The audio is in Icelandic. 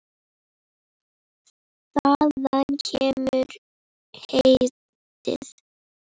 Þaðan kemur heitið.